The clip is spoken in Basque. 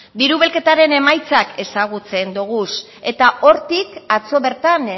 diru bilketaren emaitzak ezagutzen doguz eta hortik atzo bertan